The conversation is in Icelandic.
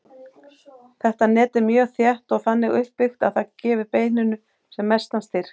Þetta net er mjög þétt og þannig uppbyggt að það gefi beininu sem mestan styrk.